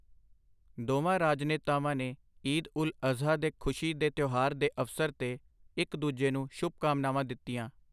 ਦੋਵਾਂ ਰਾਜਨੇਤਾਵਾਂ ਨੇ ਈਦ ਉਲ ਅਜ਼ਹਾ ਦੇ ਖੁਸ਼ੀ ਦੇ ਤਿਉਹਾਰ ਦੇ ਅਵਸਰ ਤੇ ਇੱਕ ਦੂਜੇ ਨੂੰ ਸ਼ੁਭਕਾਮਨਾਵਾਂ ਦਿੱਤੀਆਂ।